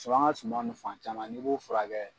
an ka suman ninnu fan caman n'i b'o fura kɛ.